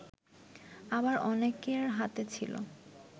আবার অনেকের হাতে ছিল